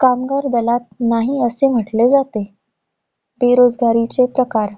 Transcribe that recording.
कामगार दलात नाही, असे म्हंटले जाते. बेरोजगारीचे प्रकार.